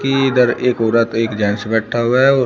ये इधर एक औरत एक जेंट्स बैठा हुआ है और--